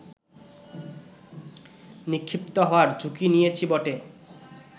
নিক্ষিপ্ত হওয়ার ঝুঁকি নিয়েছি বটে